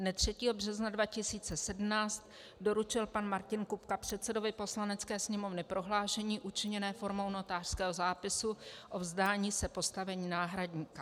Dne 3. března 2017 doručil pan Martin Kupka předsedovi Poslanecké sněmovny prohlášení učiněné formou notářského zápisu o vzdání se postavení náhradníka.